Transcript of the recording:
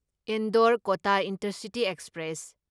Indore Kota intercity express